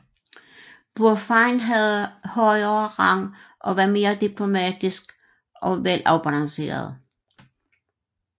Burfeind havde højere rang og var mere diplomatisk og velafbalanceret